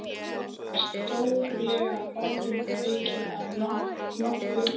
Það er stórlega orðum aukið að nokkuð.